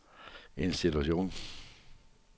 institution